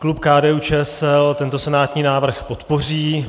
Klub KDU-ČSL tento senátní návrh podpoří.